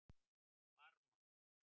Varmá